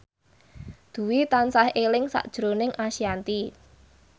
Dwi tansah eling sakjroning Ashanti